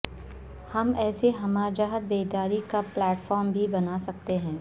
ہم اسے ہمہ جہت بیداری کا پلیٹ فارم بھی بناسکتے ہیں